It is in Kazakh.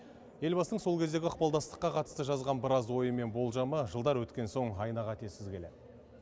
елбасының сол кездегі ықпалдастыққа қатысты жазған біраз ойы мен болжамы жылдар өткен соң айна қатесіз келеді